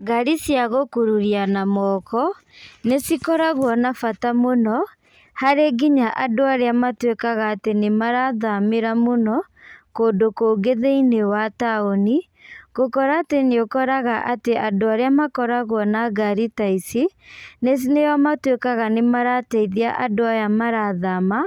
Ngari cia gũkũruria na moko, nĩ cikoragwo na bata mũno, harĩ nginya andũ arĩa matuĩkaga atĩ nĩ marathamĩra mũno, kũndũ kũngĩ thĩiniĩ wa taũni. Gũkora atĩ nĩ ũkoraga atĩ andũ arĩa makoragwo na ngari ta ici, nĩo matuĩkaga nĩ marateithia andũ aya marathama,